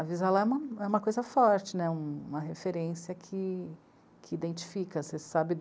Avisa lá é uma, uma coisa forte né, uma referência que, que identifica. Você sabe